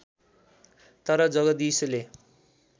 तर जगदीशले